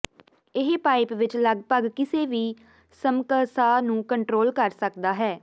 ਇਹ ਪਾਈਪ ਵਿਚ ਲੱਗਭਗ ਕਿਸੇ ਵੀ ਸਮਕਸਆ ਨੂੰ ਕੰਟਰੋਲ ਕਰ ਸਕਦਾ ਹੈ